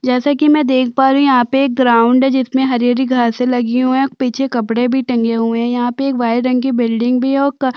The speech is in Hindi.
जैसा की मैं देख पा रही हूँ यहाँ पे एक ग्राउंड है जिसमे हरी-हरी घासें लगी हुए है पीछे कपड़े भी टंगे हुए है यहाँ पे एक वाइट रंग की बिल्डिंग भी है और क--